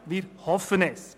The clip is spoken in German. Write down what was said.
Wir hoffen es.